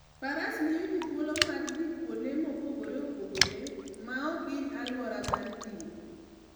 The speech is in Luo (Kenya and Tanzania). Faras miyo ji thuolo mar dhi kuonde mopogore opogore maok hiny alwora mar thim.